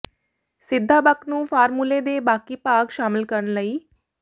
ਸਿੱਧਾ ਬਕ ਨੂੰ ਫ਼ਾਰਮੂਲੇ ਦੇ ਬਾਕੀ ਭਾਗ ਸ਼ਾਮਿਲ ਕਰਨ ਲਈ